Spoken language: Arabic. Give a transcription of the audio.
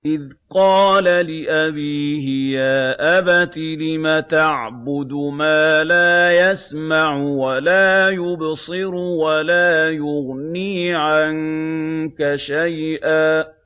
إِذْ قَالَ لِأَبِيهِ يَا أَبَتِ لِمَ تَعْبُدُ مَا لَا يَسْمَعُ وَلَا يُبْصِرُ وَلَا يُغْنِي عَنكَ شَيْئًا